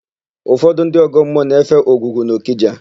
Ụfọdụ ndị ọgọmmụọ na-efe Ogwugwu n'Ọkịja.